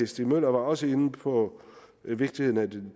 stig møller var også inde på vigtigheden af det